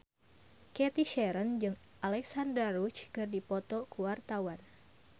Cathy Sharon jeung Alexandra Roach keur dipoto ku wartawan